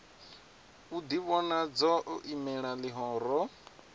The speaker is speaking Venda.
u ḓivhonadza o imelela ḽihoro